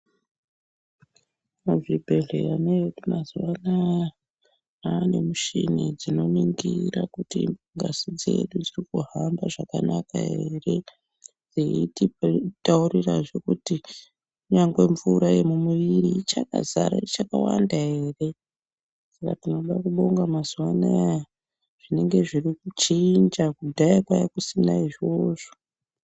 Muzvibhehlera medu mazuvaano manemuchini dzinoningira kuti ngazi dzedu dzirikuhamba zvakanaka eree echitaurira nyamwe mvura yemumuviri ichakawanda eree tinoda kubonga mazuwano zvinonga zvirikuchinja kudhaya kwanga kusina izvovzo